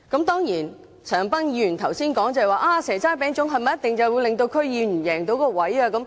當然，陳恒鑌議員剛才說，"蛇齋餅粽"是不是一定可以令區議員贏到議席？